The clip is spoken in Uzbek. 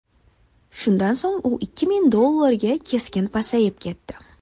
Shundan so‘ng u ikki ming dollarga keskin pasayib ketdi.